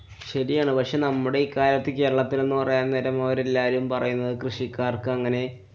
ശരിയാണ്. നമ്മുടെ ഈ കാലത്ത് കേരളത്തില്‍ എന്ന് പറയാന്‍ നേരം അവരെല്ലാവരും പറയുന്നത് കൃഷിക്കാര്‍ക്കങ്ങനെ